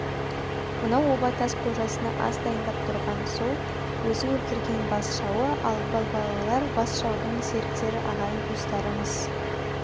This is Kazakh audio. мынау оба тас қожасына ас дайындап тұрған сол өзі өлтірген бас жауы ал балбалалар бас жаудың серіктері ағайын-туыстары-мыс